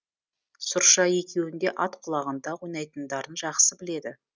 сұрша екеуінің де ат құлағында ойнайтындарын жақсы біледі